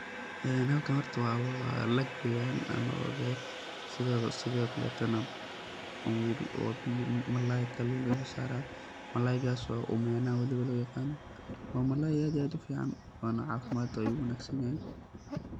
Halkan horta waa lak weyaan ama waa beer sido kaletana waa wabi malalay kalun laga sosarayaa , malalaygaso waliba Omena lo yaqano waa malalay aad iyo aad u fican waana cafimaad waye waana u wanagsan yahay.